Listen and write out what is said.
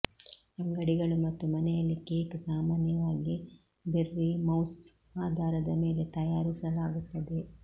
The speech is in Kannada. ಅಂಗಡಿಗಳು ಮತ್ತು ಮನೆಯಲ್ಲಿ ಕೇಕ್ ಸಾಮಾನ್ಯವಾಗಿ ಬೆರ್ರಿ ಮೌಸ್ಸ್ ಆಧಾರದ ಮೇಲೆ ತಯಾರಿಸಲಾಗುತ್ತದೆ